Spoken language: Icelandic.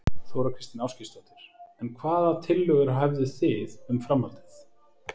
Þóra Kristín Ásgeirsdóttir: En hvaða tillögur hefðu þið um, um framhaldið?